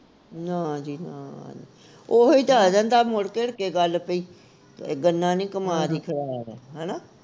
ਨਾ ਜੀ ਨਾ ਉਹੀ ਤਾਂ ਆ ਜਾਂਦਾ ਮੋੜ ਘੋੜ ਕੇ ਗੱਲ ਬਈ ਗੰਨਾ ਨੀ ਕਮਾਦ ਈ ਖਰਾਬ ਆ